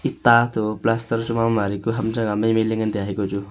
eta to plaster mo mari pu ham chang aa mai mai le ngan taiya hai kochu.